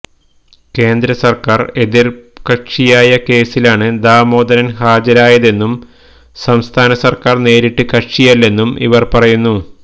കേന്ദ്ര സര്ക്കാര് എതിര്കക്ഷിയായ കേസിലാണ് ദാമോദരന് ഹാജരായതെന്നും സംസ്ഥാന സര്ക്കാര് നേരിട്ട് കക്ഷിയല്ലെന്നും ഇവര് പറയുന്നു